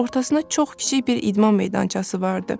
Ortasında çox kiçik bir idman meydançası vardı.